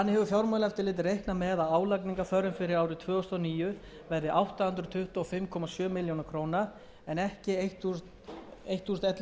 fyrir árið tvö þúsund og níu verði átta hundruð tuttugu og fimm komma sjö milljónir króna en ekki ellefu hundruð og